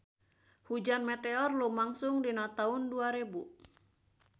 Hujan meteor lumangsung dina taun dua rebu